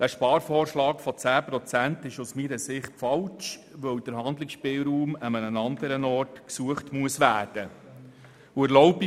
Der Sparvorschlag von 10 Prozent ist aus meiner Sicht falsch, weil der Handlungsspielraum an anderer Stelle gesucht werden muss.